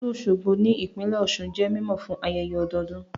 Ìlú Òṣogbo ní ìpínlẹ̀ Ọ̀sun jẹ́ mímọ̀ fún ayẹyẹ ọdọdún